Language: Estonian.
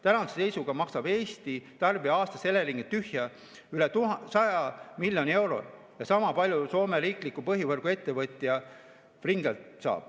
Tänase seisuga maksab Eesti tarbija aastas Eleringile tühja üle 100 miljoni euro ja sama palju saab Soome riiklik põhivõrguettevõtja Fingrid.